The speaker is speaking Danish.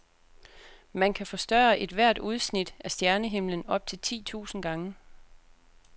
Man kan forstørre ethvert udsnit af stjernehimlen op til ti tusind gange.